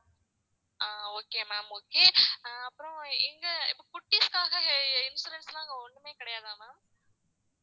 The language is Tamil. ஆஹ் okay ma'am okay ஆ அப்புறம் இங்கே இப்போ குட்டீஸ்க்காக insurance எல்லாம் அங்கே ஒண்ணுமே கிடையாதா ma'am